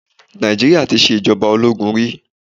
Nàìjíríà tí ṣe ìjọba ológun rí.